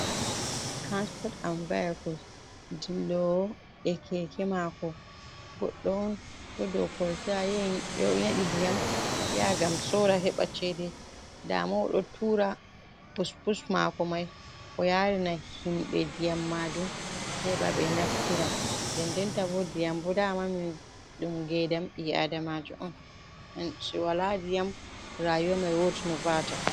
Transport an vayacoes, ɗi lowo e keke mako, goɗɗo on ɗo dou kolta ya yahi nyeɗi ndiyam ya ngam sora heɓa chede nda mo oɗo tura pus pus mako mai o yarina himɓe ndiyam majun, heɓa ɓe naftira den den tabo ndiyam bo dama min ɗum ngedam ɓi’adamajo on ngam to wala ndiyam rayumai wot no va'ata.